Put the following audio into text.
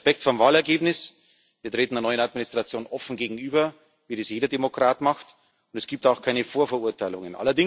Wir haben Respekt vor dem Wahlergebnis, wir treten einer neuen Administration offen gegenüber, wie das jeder Demokrat macht, und es gibt auch keine Vorverurteilungen.